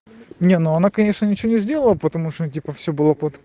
не ну она конечно ничего не сделал потому что он типа все было под